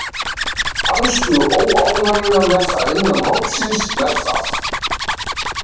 Fannstu óánægju með það innan hópsins með það?